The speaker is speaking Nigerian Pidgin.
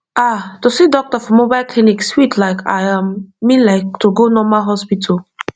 ah to see doctor for mobile clinic sweet like i um mean like to go normal hospital